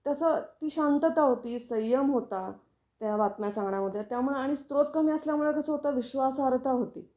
तस ती शांतता होती, संयम होता त्या बातम्यां सांगण्यामध्ये त्यामुळे आणि स्रोत कमी असल्यामुळे कस होत विश्वासार्हता होती.